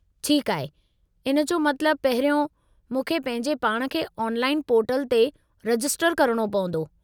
ठीकु आहे! इन जो मतलबु पहिरियों, मूंखे पंहिंजे पाण खे ऑनलाइन पोर्टल ते रजिस्टर करणो पंवदो।